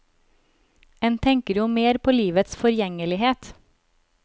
En tenker jo mer på livets forgjengelighet.